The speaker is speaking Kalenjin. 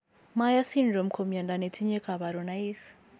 Myhre syndrome ko mnyondo netinye kabarunaik